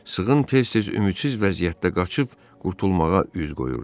Sığın tez-tez ümidsiz vəziyyətdə qaçıb qurtulmağa üz qoyurdu.